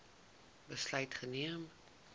besluit geneem